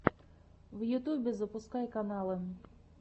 на ютубе запускай каналы